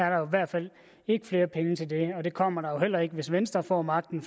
jo i hvert fald ikke flere penge til det og det kommer der heller ikke hvis venstre får magten